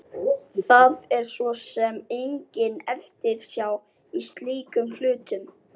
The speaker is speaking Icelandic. Það er svo sem engin eftirsjá í slíkum hlutum.